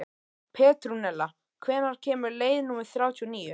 Petrúnella, hvenær kemur leið númer þrjátíu og níu?